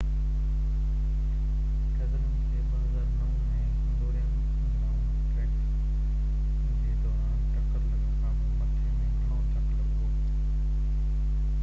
Brazilian کي 2009 ۾ Hungarian grand prix جي دوران ٽڪر لڳڻ کانپوءِ مٿي ۾ گهڻو ڌڪ لڳو هو